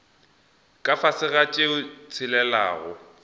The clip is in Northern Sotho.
ka fase ga tše tshelelago